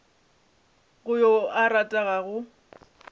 go yo a ratago go